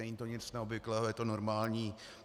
Není to nic neobvyklého, je to normální.